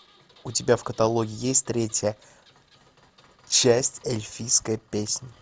у тебя в каталоге есть третья часть эльфийской песни